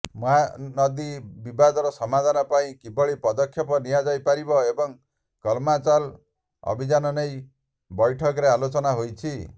ମହାନଦୀ ବିବାଦର ସମାଧାନ ପାଇଁ କିଭଳି ପଦକ୍ଷେପ ନିଆଯାଇପାରିବ ଏବଂ କଲମା ଚାଲ ଅଭିଯାନ ନେଇ ବୈଠକରେ ଆଲୋଚନା ହୋଇଛି